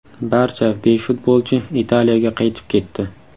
Barcha besh futbolchi Italiyaga qaytib ketdi.